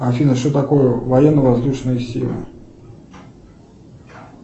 афина что такое военно воздушные силы